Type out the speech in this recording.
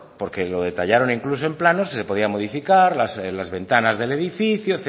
porque lo detallaron incluso en planos que se podían modificar las ventanas del edificio